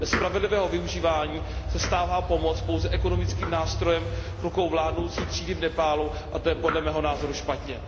Bez spravedlivého využívání se stává pomoc pouze ekonomickým nástrojem v rukou vládnoucí třídy v Nepálu a to je podle mého názoru špatně.